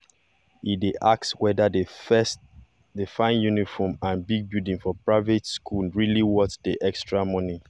e dey ask whether the fine uniform and big building for private school really worth the extra money.